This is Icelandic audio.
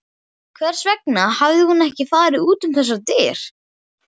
Hvers vegna hafði hún ekki farið út um þessar dyr?